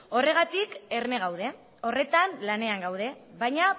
horregatik erne gaude horretan lanean gaude baina